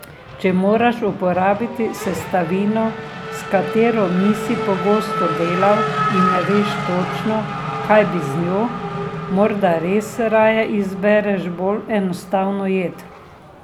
Če moraš uporabiti sestavino, s katero nisi pogosto delal in ne veš točno, kaj bi z njo, morda res raje izbereš bolj enostavno jed.